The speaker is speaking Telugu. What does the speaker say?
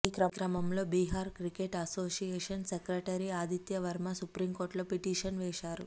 ఈ క్రమంలో Bihar cricket association secretary Aditya Varma సుప్రీంకోర్టులో పిటీషన్ వేశారు